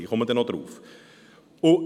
Ich komme darauf zurück.